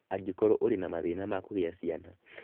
angĩkorũo ũrĩ na mathĩna ma kũgĩa ciana.